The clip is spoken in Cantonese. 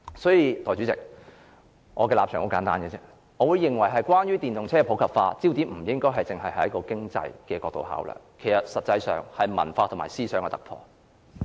所以，代理主席，我的立場很簡單：我認為關於電動車普及化方面，焦點不應該只放在經濟角度上考慮，實際上應是文化和思想上的突破，謝謝。